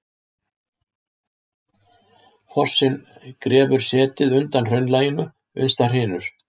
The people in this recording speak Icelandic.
Fossinn grefur setið undan hraunlaginu uns það hrynur.